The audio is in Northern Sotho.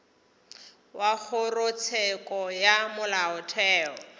wa kgorotsheko ya molaotheo o